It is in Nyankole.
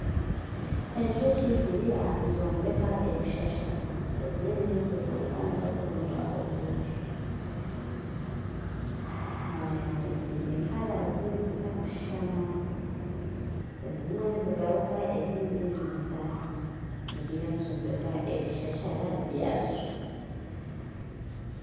Enjoki ziriyo nizimbeka ebishasara, ezindi nizikuruka niziza kuronda obwoki, ziine erangi ezitakushana, ezimwe nizigaruka ezindi nizitahamu, ziriyo nizombeka ebishashara byazo.